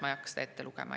Ma ei hakka seda ette lugema.